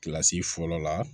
Kilasi fɔlɔ la